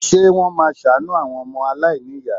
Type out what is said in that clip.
Ṣé wọ́n máa ṣàánú àwọn ọmọ aláìníyàá?